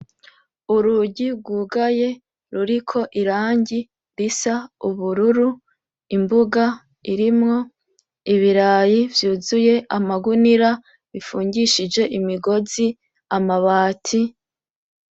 Urugi rwugaye ruriko irangi risa ubururu; imbuga irimwo ibirayi vyuzuye amagunira bifungishije imigozi; amabati.